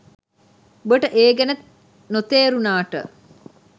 උඹට ඒ ගැන නොතේරුනාට